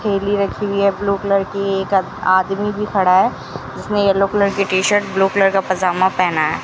ठेली रखी हुई है ब्लू कलर की आदमी भी खड़ा है जिसने येलो कलर की टी-शर्ट और ब्लू कलर का पजामा पहना है।